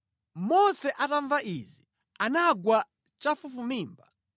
Mose atamva izi, anagwa chafufumimba.